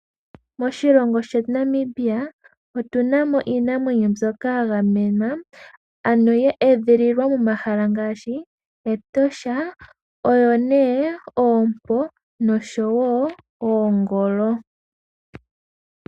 Moshilongo shetu Namibia otuna mo iinamwenyo mbyoka ya gamenwa, ano ye edhililwa momahala ngaashi, Etosha. Oyo nee oompo, noshowo oongolo.